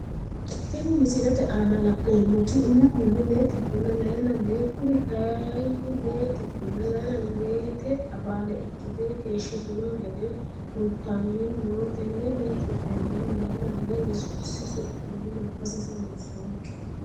Tini misilete aana la`neemoti umihuni lee xibena layine lee kuri kayiini lee xibena layina leete abaale ikite keeshitino gede kultani no tene lee xibena layina lee yesuusi su`mii manfasese loosonke.